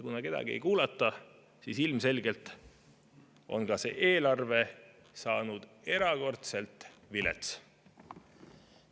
Kuna kedagi ei kuulata, siis ilmselgelt on ka see eelarve saanud erakordselt vilets.